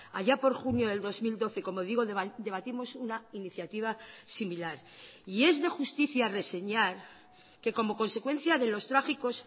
allá por junio del dos mil doce como digo debatimos una iniciativa similar y es de justicia reseñar que como consecuencia de los trágicos